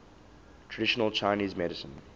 traditional chinese medicine